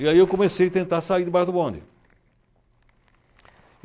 E aí eu comecei a tentar sair debaixo do bonde.